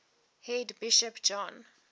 head bishop john